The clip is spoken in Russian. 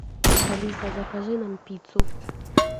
алиса закажи нам пиццу